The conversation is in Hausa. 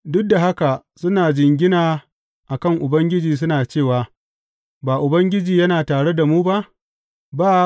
Duk da haka suna jingina a kan Ubangiji suna cewa, Ba Ubangiji yana tare da mu ba?